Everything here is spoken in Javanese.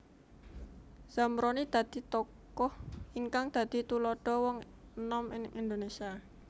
Zamroni dadi tokoh ingkang dadi tuladha wong enom ing Indonesia